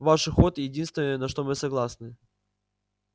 ваш уход единственное на что мы согласны